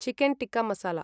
chicken tikka masala